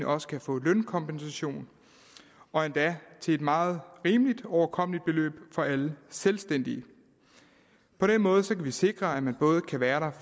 også kan få lønkompensation og endda til et meget rimeligt overkommeligt beløb for alle selvstændige på den måde kan vi sikre at man både kan være der